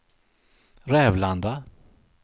Rävlanda